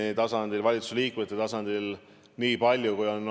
On liberaalsete väärtustega erakond Keskerakond ja kaks konservatiivse väärtusruumiga erakonda.